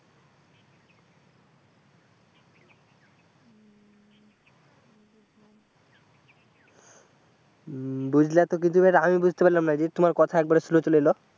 বুজলা তো কিন্তু আমি বুঝতে পারলাম না যে তোমার কথা একবারে slow চলে এলো,